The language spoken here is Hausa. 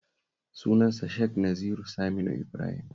Sunansa Sheikh Naziru Saminu Ibrahim